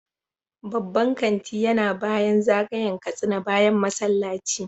Babban kanti yana bayan zagayen Katsina bayan masallaci